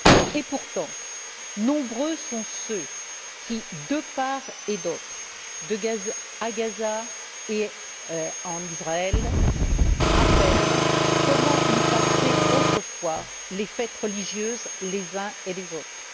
Et pourtant, nombreux sont ceux qui de part et d'autre, à Gaza et en Israël, rappellent comment ils passaient autrefois les fêtes religieuses les uns et les autres.